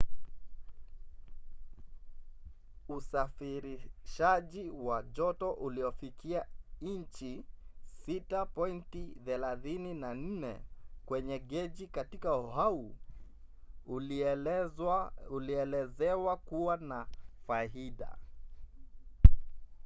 usafirishaji wa joto uliofikia inchi 6.34 kwenye geji katika oahu ulielezewa kuwa na faida